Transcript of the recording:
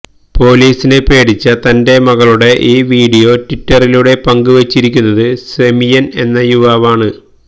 പൊലീസിനെ പേടിച്ച തന്റെ മകളുടെ ഈ വീഡിയോ ട്വിറ്ററിലൂടെ പങ്കുവച്ചിരിക്കുന്നത് സെമിയന് എന്ന യുവാവാണ്